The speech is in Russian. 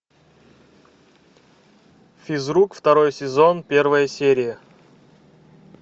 физрук второй сезон первая серия